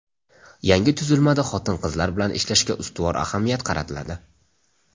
Yangi tuzilmada xotin-qizlar bilan ishlashga ustuvor ahamiyat qaratiladi.